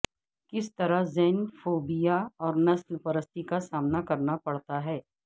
کس طرح زینفوبیا اور نسل پرستی کا سامنا کرنا پڑتا ہے